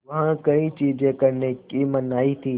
वहाँ कई चीज़ें करने की मनाही थी